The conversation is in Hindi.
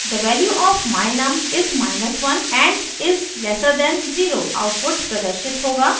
the value of my_num is 1 and is lesser than 0 output प्रदर्शित होगा